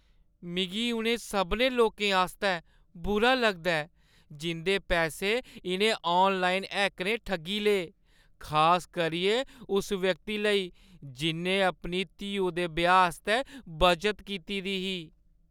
मिगी उ'नें सभनें लोकें आस्तै बुरा लगदा ऐ जिं'दे पैसे इʼनें ऑनलाइन हैकरें ठग्गी ले, खास करियै उस व्यक्ति लेई जि'न्नै अपनी धीऊ दे ब्याह् आस्तै बचत कीती दी ही।